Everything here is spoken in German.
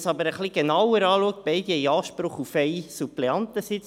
Beide haben Anspruch auf einen Suppleantensitz.